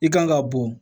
I kan ka bɔ